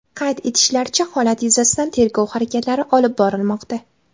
Qayd etishlaricha, holat yuzasidan tergov harakatlari olib borilmoqda.